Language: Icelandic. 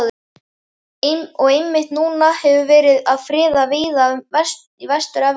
Og einmitt núna er verið að friða víða í Vestur-Evrópu.